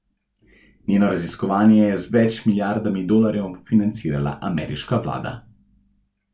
Njeno raziskovanje je z več milijardami dolarjev financirala ameriška vlada.